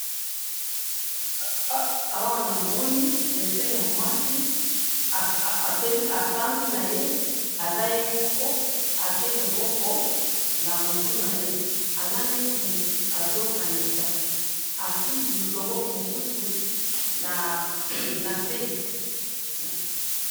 awa namoni dessin ya mwasi, afandi naye, aza ye moko, atie loboko na mutu naye, aza neti mutu azo kanina, atie loboko mosusu na se